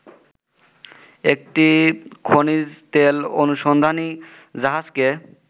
একটি খনিজতেল অনুসন্ধানী জাহাজকে